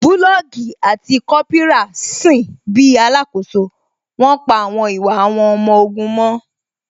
Bulọọgi àti Kópírà sin bíi alakoso, wón pa àwọn ìwà àwọn ọmọ ogun mọ́